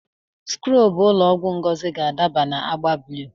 Skrọbụ ụlọ ọgwụ Ngozi ga-adị na agba blụu.